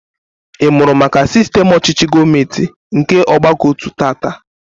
Ị mụrụ maka sistem ọchịchị gọọmenti nke ọgbakọotu taata?